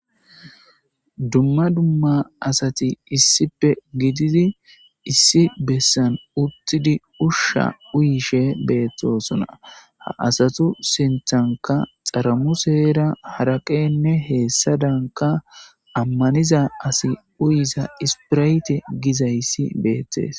dumma dumma asati issipe gididi issi bessan uttidi ushsha uyishe beettosona ha asatu senthanka xaramu seera haraqenne heessa danka ammaniza asi uyiza ispirayte gizayssi beettees